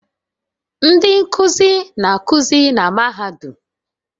Ndị nkuzi na-akụzi na mahadum